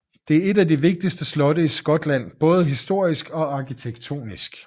Det er et af de vigtigste slotte i Skotland både historisk og arkitektonisk